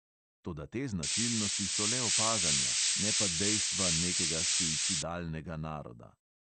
Toda te značilnosti so le opažanja, ne pa dejstva nekega suicidalnega naroda.